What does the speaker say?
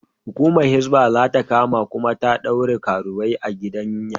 Hukumar Hisbah za ta kama kuma ta ɗaure karuwai a gidan yari.